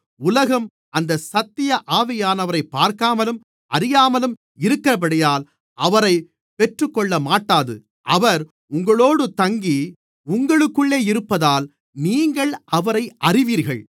உலகம் அந்தச் சத்திய ஆவியானவரைப் பார்க்காமலும் அறியாமலும் இருக்கிறபடியால் அவரைப் பெற்றுக்கொள்ளமாட்டாது அவர் உங்களோடு தங்கி உங்களுக்குள்ளே இருப்பதால் நீங்கள் அவரை அறிவீர்கள்